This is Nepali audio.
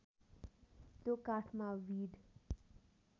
त्यो काठमा बिँड